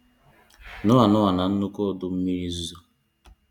Noah Noah na nnụkwụ ọdụ mmiri ozizo